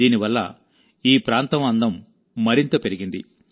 దీనివల్ల ఈ ప్రాంతం అందం మరింత పెరిగింది